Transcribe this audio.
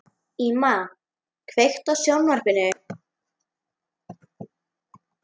Íma, kveiktu á sjónvarpinu.